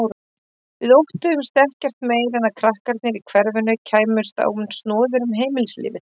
Við óttuðumst ekkert meir en að krakkarnir í hverfinu kæmust á snoðir um heimilislífið.